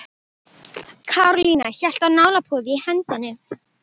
Karólína hélt á nálapúða í hendinni.